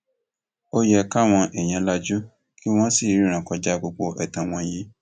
ó yẹ káwọn èèyàn lajú kí wọn sì rìnnà kọjá gbogbo ẹtàn wọn yìí